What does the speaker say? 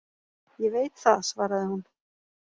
Ég veit það, svaraði hún